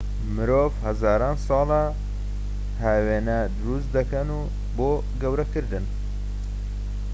مرۆڤ هەزاران ساڵە هاوێنە دروست دەکەن بۆ گەورەکردن